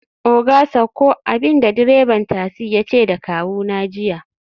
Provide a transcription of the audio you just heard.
oga sauko!, abinda direban tasi yace da kawuna jiya